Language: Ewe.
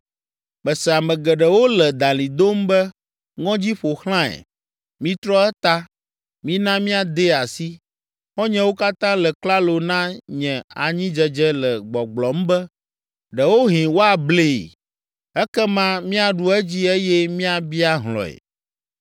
Mese ame geɖewo le dalĩ dom be, “Ŋɔdzi ƒo xlãe! Mitrɔ eta! Mina míadee asi!” Xɔ̃nyewo katã le klalo na nye anyidzedze le gbɔgblɔm be, “Ɖewohĩ woablee ekema míaɖu edzi eye míabia hlɔ̃e.”